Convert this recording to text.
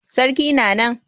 Sarki na nan.